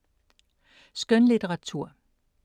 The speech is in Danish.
Skønlitteratur